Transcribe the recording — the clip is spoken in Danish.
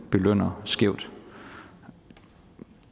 belønner skævt når